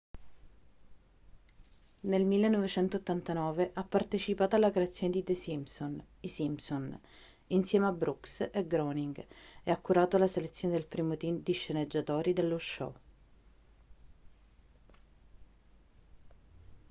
nel 1989 ha partecipato alla creazione di the simpsons i simpsons insieme a brooks e groening e ha curato la selezione del primo team di sceneggiatori dello show